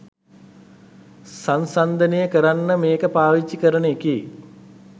සන්සන්දනය කරන්න මේක පාවිච්චි කරන එකේ